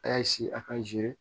A y'a a ka